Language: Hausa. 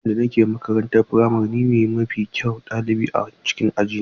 Lokacin da nake makarantar firamare, ni ne mafi kyawun ɗalibi a cikin aji na.